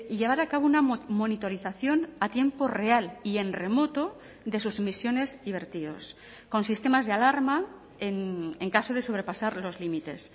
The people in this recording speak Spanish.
llevar a cabo una monitorización a tiempo real y en remoto de sus emisiones y vertidos con sistemas de alarma en caso de sobrepasar los límites